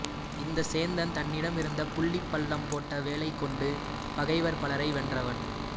இந்தச் சேந்தன் தன்னிடமிருந்த புள்ளிப் பள்ளம் போட்ட வேலைக்கொண்டு பகைவர் பலரை வென்றவன்